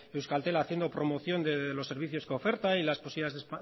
euskaltel haciendo promoción de los servicios que oferta y las cosillas de